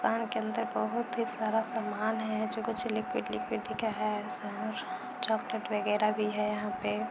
दुकान के अंदर बहुत ही सारा सामान है जो कुछ लिक्विड लिक्विड दिखे हैं चॉक्लेट वगेरा भी है यहाँ पे।